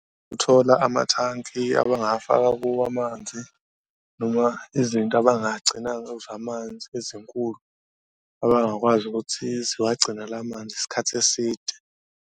Ukuthola amathanki abangafaka kuwo amanzi noma izinto abangagcina kuzo amanzi ezinkulu abangakwazi ukuthi zibagcinele manzi isikhathi eside.